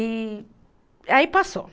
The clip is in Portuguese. E, aí passou.